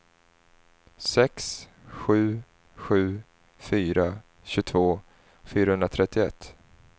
sex sju sju fyra tjugotvå fyrahundratrettioett